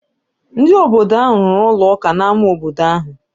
Ndị obodo ahụ rụrụ ụlọ ụka n’ámá obodo ahụ.